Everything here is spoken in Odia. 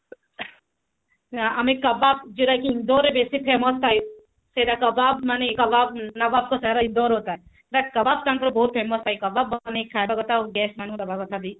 ନାଁ ଆମେ କବାବ ଯୋଉଟା କି ଇନ୍ଦୋର ରେ ବେଶୀ famous ଥାଏ ସେଟା କବାବ ମାନେ love of the ଇନ୍ଦୋର ରେ ଥାଏ that's କବାବ ତାଙ୍କର ବହୁତ famous ଥାଏ କବାବ ବନେଇକି ଖାଇବା କଥା ଆଉ guest ମାନଙ୍କୁ ଦେବ କଥା ବି